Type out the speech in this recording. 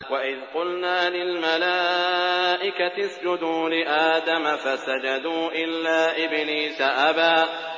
وَإِذْ قُلْنَا لِلْمَلَائِكَةِ اسْجُدُوا لِآدَمَ فَسَجَدُوا إِلَّا إِبْلِيسَ أَبَىٰ